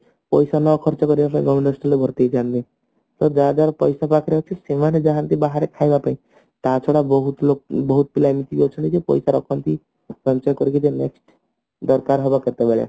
ପଇସା ନ ଖର୍ଚ୍ଚ କରିବା ପାଇଁ government hostel ରେ ଭର୍ତ୍ତି ଯାଉଛନ୍ତି ତ ଯାହାଦ୍ୱାରା ପଇସା ପାଖରେ ଅଛି ସେମାନେ ଯାନ୍ତି ବାହାରେ ଖାଇବା ପାଇଁ ତା ଛଡା ବହୁତ ଲୋ ବହୁତ ପିଲା ଏମିତି ଅଛନ୍ତି ଯେ ପଇସା ରଖନ୍ତି ସଞ୍ଚୟ କରିକି next ଦରକାର ହେବ କେତେବେଳେ